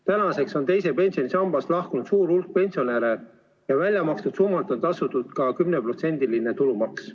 Tänaseks on teisest pensionisambast lahkunud suur hulk pensionäre ja väljamakstud summadelt on tasutud ka 10% tulumaksu.